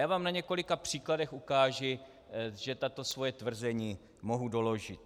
Já vám na několika příkladech ukážu, že tato svoje tvrzení mohu doložit.